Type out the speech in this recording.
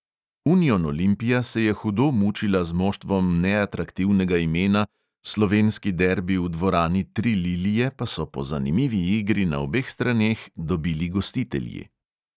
Union olimpija se je hudo mučila z moštvom neatraktivnega imena, slovenski derbi v dvorani tri lilije pa so po zanimivi igri na obeh straneh dobili gostitelji.